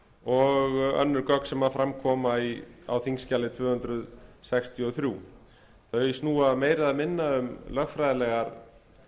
og önnur gögn sem fram koma á þingskjali tvö hundruð sextíu og þrjú þau snúa meira eða minna um lögfræðilegar